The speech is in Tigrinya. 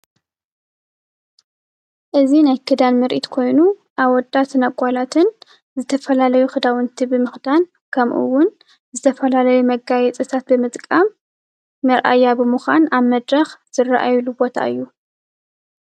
እዙይ ናይ ክዳን ምርኢት ኮይኑ ኣወዳትን ኣጋላትን ዝተፈላለዩ ክዳውንቲ ብምክዳን ከምኡ እውን ዝተፈላለዩ መጋየፅታት ብምጥቃም መርኣያ ብምኮን ኣብ መድረክ ዝርኣይሉ ቦታ እዩ።